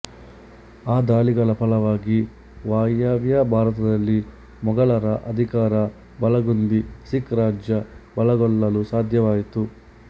ಆ ದಾಳಿಗಳ ಫಲವಾಗಿ ವಾಯವ್ಯ ಭಾರತದಲ್ಲಿ ಮೊಗಲರ ಅಧಿಕಾರ ಬಲಗುಂದಿ ಸಿಖ್ ರಾಜ್ಯ ಬಲಗೊಳ್ಳಲು ಸಾಧ್ಯವಾಯಿತು